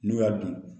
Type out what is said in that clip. N'u y'a dun